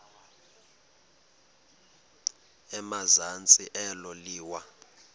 emazantsi elo liwa